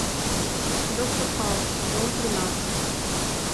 доктор хаус сезон тринадцать